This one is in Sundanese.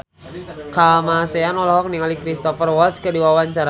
Kamasean olohok ningali Cristhoper Waltz keur diwawancara